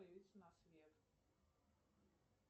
появился на свет